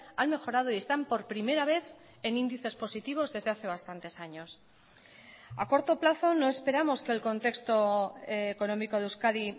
han mejorado y están por primera vez en índices positivos desde hace bastantes años a corto plazo no esperamos que el contexto económico de euskadi